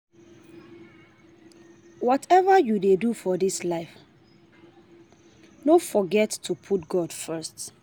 Whatever you dey do for dis life no forget to put God first